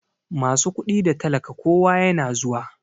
Masu kudi da talaka kowa yana zuwa.